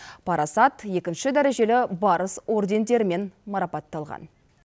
парасат екінші дәрежелі барыс ордендерімен марапатталған